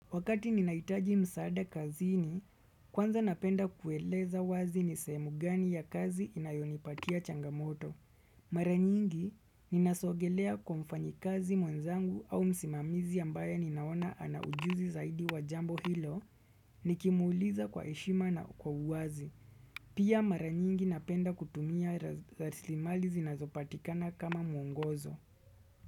Wakati ninahitaji msaada kazini, kwanza napenda kueleza wazi ni sehemu gani ya kazi inayonipatia changamoto. Mara nyingi, ninasogelea kwa mfanyikazi mwenzangu au msimamizi ambaye ninaona ana ujuzi zaidi wa jambo hilo, nikimuuliza kwa heshima na kwa uwazi. Pia mara nyingi napenda kutumia raslimali zinazopatikana kama mwongozo.